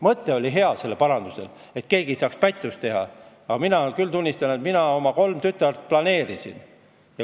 Mõte oli hea, et keegi ei saaks pättust teha, aga mina küll tunnistan, et mina oma kolme tütart planeerisin.